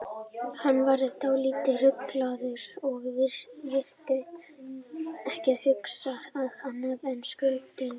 Hann var dálítið ruglaður og virtist ekki hugsa um annað en skuldunautana.